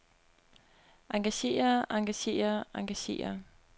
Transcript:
engagere engagere engagere